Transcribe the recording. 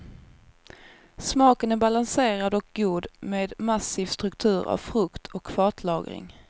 Smaken är balanserad och god med massiv struktur av frukt och fatlagring.